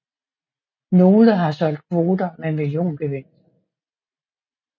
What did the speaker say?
Nogle har solgt kvoter med milliongevinster